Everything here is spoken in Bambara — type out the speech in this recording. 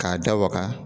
K'a da waga